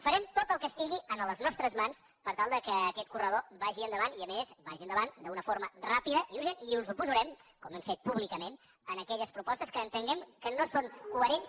farem tot el que estigui en les nostres mans per tal que aquest corredor vagi endavant i a més vagi endavant d’una forma ràpida i urgent i ens oposarem com hem fet públicament a aquelles propostes que entenguem que no són coherents